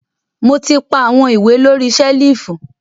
Mo ti pa awọn iwe lori selifu.